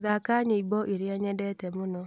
thaaka nyĩmbo iria nyendete mũno